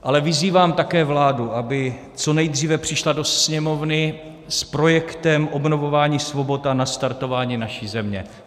Ale vyzývám také vládu, aby co nejdříve přišla do Sněmovny s projektem obnovování svobod a nastartování naší země.